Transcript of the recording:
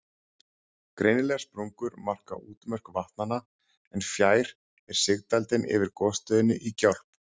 Greinilegar sprungur marka útmörk vatnanna, en fjær er sigdældin yfir gosstöðinni í Gjálp.